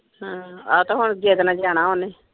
ਅਮ ਆਹ ਤਾਂ ਹੁਣ ਜਿੱਦ ਨਾਲ ਜਾਣਾ ਓਹਨੇ।